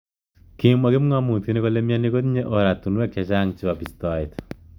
Kimwa kipngamutik kole mnyeni kotinye oratunwek chechang chebo bistoet.